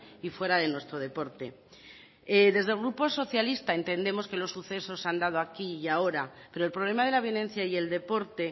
y fuera de nuestro deporte desde el grupo socialista entendemos que los sucesos se han dado aquí y ahora pero el problema de la violencia y el deporte